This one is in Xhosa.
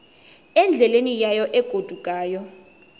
endleleni yayo egodukayo